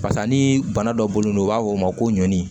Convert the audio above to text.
Pasa ni bana dɔ bolonɔ u b'a fɔ o ma ko ɲɔni